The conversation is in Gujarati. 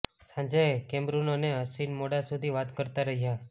સાંજે કેમરૂન અને અસિન મોડા સુધી વાત કરતા રહ્યા